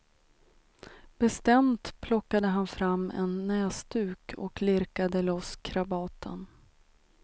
Bestämt plockade han fram en näsduk och lirkade loss krabaten.